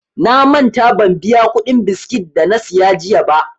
Na manta ban biya kuɗin biskit dana siya jiya ba.